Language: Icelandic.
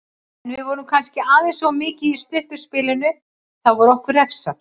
En við vorum kannski aðeins of mikið í stutta spilinu og þá var okkur refsað.